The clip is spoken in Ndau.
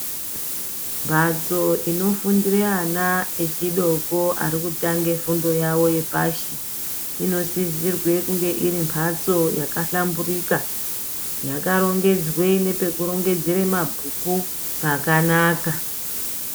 Mbatso inofundire ana echidoko ari kutange fundo yavo yepashi, inosisirwe kunge iri mbatso yakahlamburika, yakarongedzwe nepekurongedzere mabhuku, pakanaka.